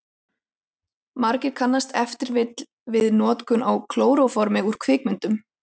Margir kannast ef til vill við notkun á klóróformi úr kvikmyndum.